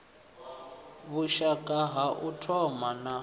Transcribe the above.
vhushaka ha u thoma na